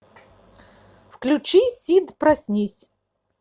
включи сид проснись